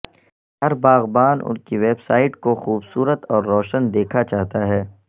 ہر باغبان ان کی ویب سائٹ کو خوبصورت اور روشن دیکھا چاہتا ہے